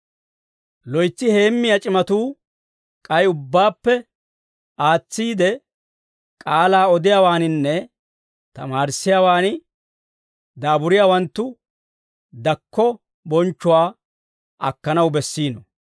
Loytsi heemmiyaa c'imatuu, k'ay ubbaappe aatsiide, k'aalaa odiyaawaaninne tamaarissiyaawaan daaburiyaawanttu, dakko bonchchuwaa akkanaw bessiino.